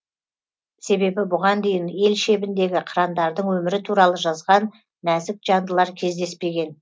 себебі бұған дейін ел шебіндегі қырандардың өмірі туралы жазған нәзік жандылар кездеспеген